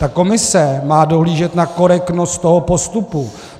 Ta komise má dohlížet na korektnost toho postupu.